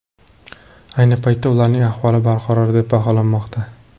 Ayni paytda ularning ahvoli barqaror deb baholanmoqda.